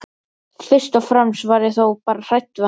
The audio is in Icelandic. Fyrst og fremst var ég þó bara hrædd við hann.